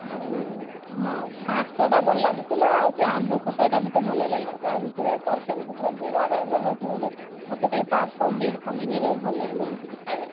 ଆଉ ହଁ ଭାତ ଟା ଭଲ ଲାଗୁଥିଲା ଆଉ ସେ ଆମ୍ବ ଖଟା ଟା ମତେ ଭଲ ଲାଗିଲା ତା ଭିତରେ ତରକାରୀ ପତ୍ର ମତେ କାଇଁ ପନିରି ଫନିରି ଗୁଡା ଭଲ ଲାଗିଲାନି କିଛି ଖାଇବା